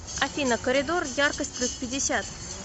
афина коридор яркость плюс пятьдесят